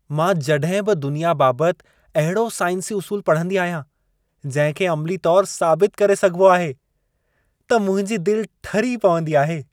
मां जॾहिं बि दुनिया बाबति अहिड़ो साइंसी उसूल पढ़ंदी आहियां, जहिं खे अमिली तौरु साबित करे सघिबो आहे, त मुंहिंजी दिल ठरी पवंदी आहे।